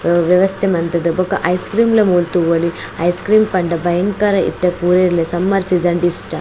ವ್ಯವಸ್ಥೆ ಮಂತುದು ಬೊಕ ಐಸ್ ಕ್ರೀಮ್ ಲ ಮೂಲು ತೂವೊಲಿ ಐಸ್ ಕ್ರೀಮ್ ಲ ಪಂಡ ಬಯಂಕರ ಇತ್ತೆ ಪೂರೆಲ ಸಮ್ಮರ್ ಸೀಸನ್ ಡ್ ಇಷ್ಟ.